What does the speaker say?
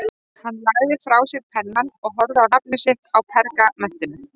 Hann lagði frá sér pennann og horfði á nafnið sitt á pergamentinu.